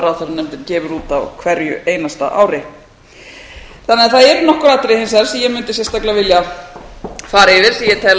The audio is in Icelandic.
ráðherranefndin gefur út á hverju einasta ári þannig að það eru nokkur atriði hins vegar sem ég mundi sérstaklega vilja fara yfir sem